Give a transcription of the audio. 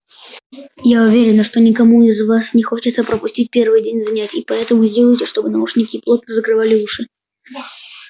я уверена что никому из вас не хочется пропустить первый день занятий поэтому сделайте чтобы наушники плотно закрывали уши